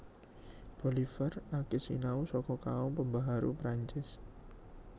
Bolivar akeh sinau saka kaum pembaharu Perancis